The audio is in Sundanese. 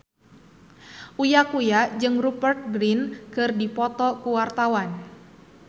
Uya Kuya jeung Rupert Grin keur dipoto ku wartawan